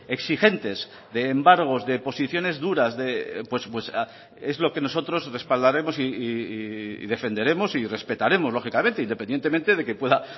exigentes de embargos de posiciones duras es lo que nosotros respaldaremos y defenderemos y respetaremos lógicamente independientemente de que pueda